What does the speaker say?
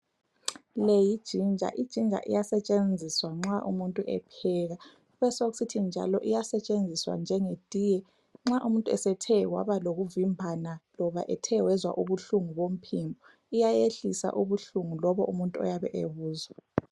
Le yijinja ,ijinja iyasetshenziswa nxa umuntu epheka, kube sokusithi njalo iyasetshenziswa njenge tiye nxa umuntu esethe waba lokuvimbana loba ethe wezwa ubuhlungu bomphimbo, iyayehlisa ubuhlungu lobu umuntu ayabe ebuzwa